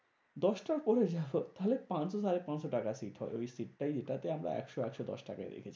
দশটার পরে যাবো তাহলে পাঁচশো সাড়ে পাঁচশো টাকা seat হবে। ওই seat টাই ওইটাতেই আমরা একশো একশো দশ টাকায় দেখে